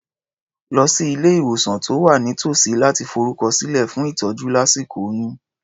Lọ sí ilé-ìwòsàn tó wà nítòsí láti forúkọsílẹ̀ fún ìtọ́jú lásíkò oyún.